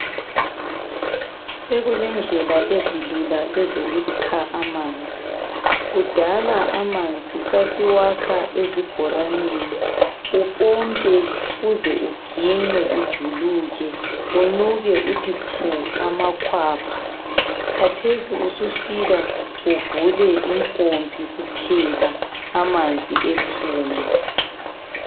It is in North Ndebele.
Sokulendlela ezilula ezokukha amanzi kudala amanzi sasiwakha ezibhoraneni, upompe uze uginqe ujuluke unuke uthi phu amakhwapha. Kathesi usufika uvule impompi kuphela amanzi ephume.